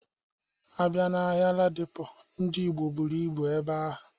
Abịa na ahịa Ladipo, Ndị Igbo buru ibu ebe ahụ.